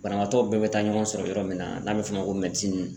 Banabaatɔ bɛɛ bɛ taa ɲɔgɔn sɔrɔ yɔrɔ min na n'a bɛ f'o ma ko